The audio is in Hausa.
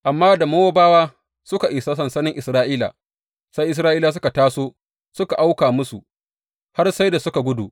Amma da Mowabawa suka isa sansanin Isra’ila, sai Isra’ilawa suka taso suka auka musu har sai da suka gudu.